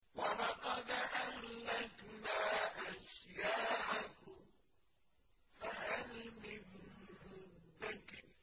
وَلَقَدْ أَهْلَكْنَا أَشْيَاعَكُمْ فَهَلْ مِن مُّدَّكِرٍ